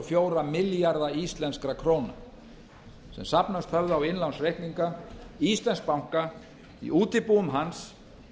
fjóra milljarða íslenskra króna sem safnast höfðu á innlánsreikninga íslensks banka í útibúum hans